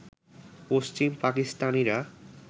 পশ্চিম পাকিস্তানিরা